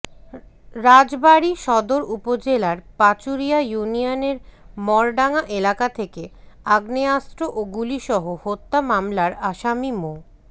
রাজবাড়ী সদর উপজেলার পাচুরিয়া ইউনিয়নের মরডাঙ্গা এলাকা থেকে আগ্নেয়াস্ত্র ও গুলিসহ হত্যা মামলার আসামি মো